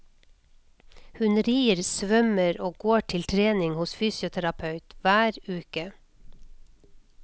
Hun rir, svømmer og går til trening hos fysioterapeut hver uke.